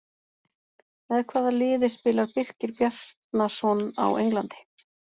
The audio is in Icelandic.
Með hvaða liði spilar Birkir Bjarnason á Englandi?